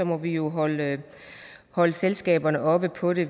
må vi jo holde holde selskaberne oppe på det